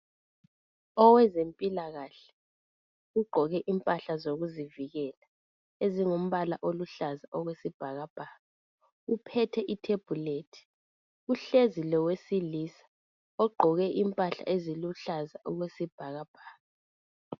Owezempilakahle ugqoke impahla zokuzivikela ezingumbala oluhlaza okwesibhakabhaka uphethe ithebhulethi. Uhlezi lowesilisa ogqoke impahla eziluhlaza okwesibhakabhaka